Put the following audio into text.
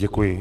Děkuji.